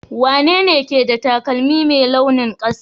wanene ke da taƙalmin Mai launin kasa?